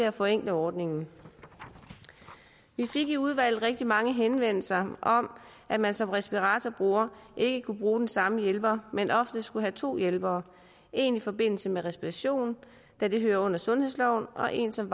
at forenkle ordningen vi fik i udvalget rigtig mange henvendelser om at man som respiratorbruger ikke kunne bruge den samme hjælper men ofte skulle have to hjælpere en i forbindelse med respiration da det hører under sundhedsloven og en som